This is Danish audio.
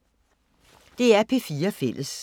DR P4 Fælles